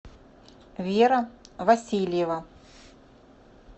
вера васильева